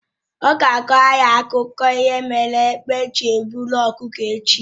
Ọ ga-akọrọ anyị akụkọ ihe mere egbe ji e buru ọkụkọ echi